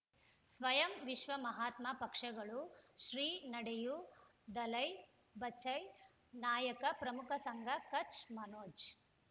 ಸ್ವಯಂ ವಿಶ್ವ ಮಹಾತ್ಮ ಪಕ್ಷಗಳು ಶ್ರೀ ನಡೆಯೂ ದಲೈ ಬಚೈ ನಾಯಕ ಪ್ರಮುಖ ಸಂಘ ಕಚ್ ಮನೋಜ್